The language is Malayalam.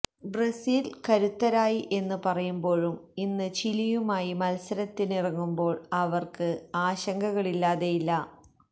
ബ്രസീല് കരുത്തരായി എന്ന് പറയുമ്പോഴും ഇന്ന് ചിലിയുമായി മത്സരത്തിനിറങ്ങുമ്പോള് അവര്ക്ക് ആശങ്കകളില്ലാതെയില്ല